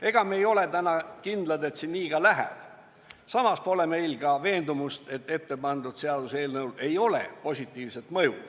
Ega me ei ole kindlad, et see nii ka läheb, samas pole meil ka veendumust, et ette pandud seaduseelnõul ei ole positiivset mõju.